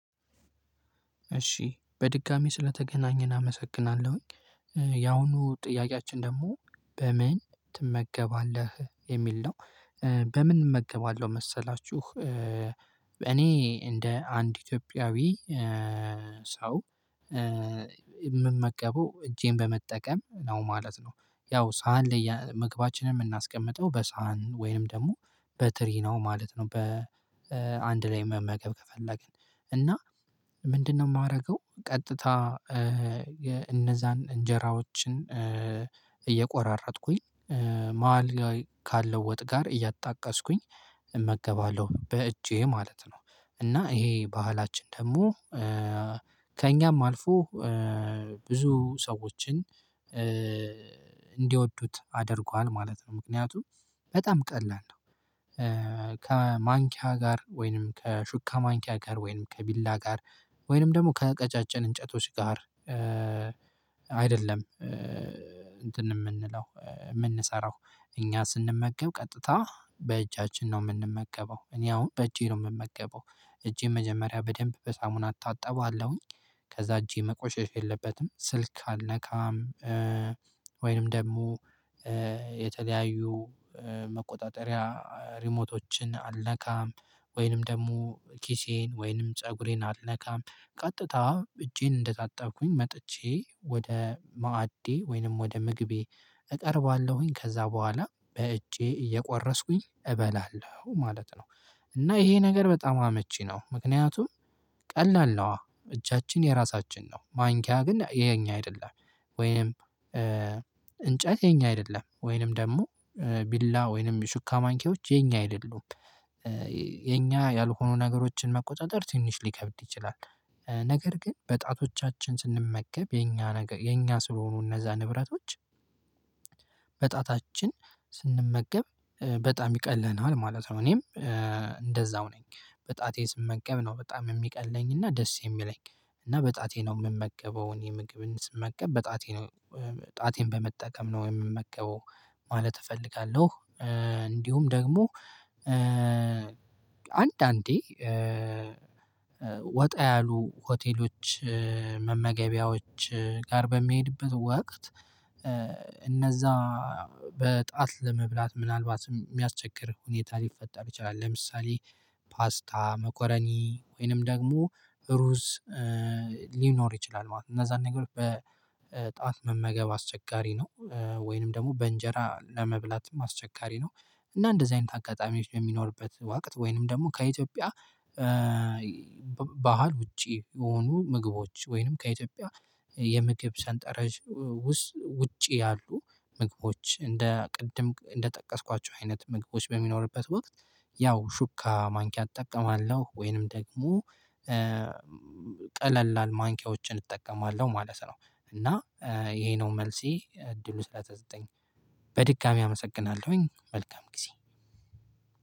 እሺ በድጋሚ ስለተገናኘን አመሰግናለሁኝ። ያሁኑ ጥያቄያችን ደግሞ በምን ትመገባለህ የሚል ነው? በምን እመገባለሁ መሰላችሁ። እኔ እንደ አንድ ኢትዮጵያዊ ሰው የምመገበው እጄን በመጠቀም ነው ማለት ነው። ያው ሳህን ላይ ምግባችንን የምናስቀምጠው በሳህን ወይንም ደግሞ በትሪ ነው ማለት ነው። በአንድ ላይ መመገብ ከፈለግን እና ምንድነው የማደርገው ቀጥታ የ እነዛን እንጀራዎችን እየቆራረጥኩኝ ማሀል ላይ ካለ ወጥ ጋር እያጣቀስኩኝ እመገባለሁ በእጄ ማለት ነው። እና ይሄ ባህላችን ደግሞ ከእኛም አልፎ ብዙ ሰዎችን እንዲወዱት አድርጓል ማለት ነው። ምክንያቱም በጣም ቀላል ነው። ከማንኪያ ጋር ወይንም ከሹካ ማንኪያ ጋር ወይንም ከቢላ ጋር ወይንም ደግሞ ከቀጫጭን እንጨቶች ጋር አይደለም እንትን የምንለው የምንሰራው እኛ ስንመገብ ቀጥታ በእጃችን ነው። የምንመገበው እኔ አሁን በእጄ ነው የምመገበው። እጄ መጀመሪያ በደንብ በሳሙና እታጠበዋለሁኝ። ከዛ እጄ መቆሸሽ የለበትም ስልክ አልነካም። ወይንም ደግሞ የተለያዩ መቆጣጠሪያ ሪሞቶችን አልነካም። ወይንም ደግሞ ኪሴን ወይንም ፀጉሬን አልነካም። ቀጥታ እጄን እንደታጠብኩኝ መጥቼ ወደ ማዕዴ ወይንም ወደ ምግቤ እጠርባለሁኝ ከዛ በኋላ በእጄ እየቆረስኩኝ እበላለሁ ማለት ነው። እና ይሄ ነገር በጣም አመቺ ነው። ምክንያቱም ቀላል ነው እጃችን የራሳችን ነው ማንኪያ ግን የኛ አይደለም። ወይም እንጨት የኛ አይደለም ወይንም ደግሞ ቢላ ወይንም ሹካ ማንኪዎች የኛ አይደሉም። የኛ ያልሆኑ ነገሮችን መቆጣጠር ትንሽ ሊከብድ ይችላል። ነገር ግን በጣቶቻችን ስንመገብ የኛ ነገር የኛ ስለሆኑ እነዛ ንብረቶች በጣታችን ስንመገብ በጣም ይቀለናል ማለት ነው። እኔም እንደዛው ነኝ። በጣቴ ስመገብ ነው በጣም የሚቀለኝና ደስ የሚለኝ እና በጣቴ ነው የምመገበውን የምግብን ስመገብ በጣቴ ነው። ጣቴን በመጠቀም ነው የምመገበው። ማለት እፈልጋለሁ። እንዲሁም ደግሞ አንዳንዴ ወጣ ያሉ ሆቴሎች መመገቢያዎች ጋር በሚሄድበት ወቅት እነዛ በጣት ለመብላት ምናልባትም የሚያስቸግር ሁኔታ ሊፈጠር ይችላል። ለምሳሌ ፓስታ መኮረኒ ወይንም ደግሞ ሩዝ ሊኖር ይችላል ማለት ነው። እነዛን ነገሮች በጣት መመገብ አስቸጋሪ ነው። ወይንም ደግሞ በእንጀራ ለመብላትም አስቸጋሪ ነው። እና እንደዚህ አይነት አጋጣሚዎች የሚኖርበት ወቅት ወይንም ደግሞ ከኢትዮጵያ ባህል ውጪ የሆኑ ምግቦች ወይንም ከኢትዮጵያ የምግብ ሰንጠረዥ ውስጥ ውጪ ያሉ ምግቦች እንደ ቅድም እንደጠቀስኳቸው አይነት ምግቦች በሚኖርበት ወቅት ያው ሹካ ማንኪያ እጠቀማለሁ። ወይንም ደግሞ ቀለላል ማንኪያዎችን እጠቀማለሁ ማለት ነው። እና ይሄ ነው መልሴ እድሉ ስለተዘጠኝ በድጋሚ አመሰግናለሁኝ። መልካም ጊዜ።